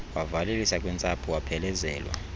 wavalelisa kwintsapho waphelezelwa